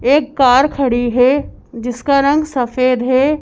एक कार खड़ी है जिसका रंग सफेद है।